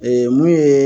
Ee mun ye